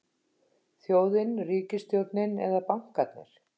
Þjóðin, ríkisstjórnin eða bankarnir?